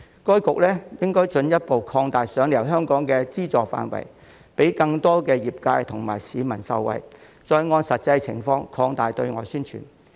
該局應進一步擴大"賞你遊香港"的資助範圍，讓更多業界及市民受惠，並按實際情況擴大對外宣傳。